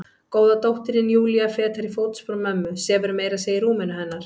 Góða dóttirin Júlía, fetar í fótspor mömmu, sefur meira að segja í rúminu hennar.